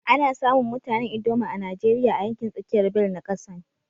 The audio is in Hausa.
Ana samun mutanen ldoma a Najeriya a yankin tsakiyar bel na kasan.